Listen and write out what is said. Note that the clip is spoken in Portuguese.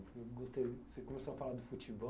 Você começou a falar do futebol.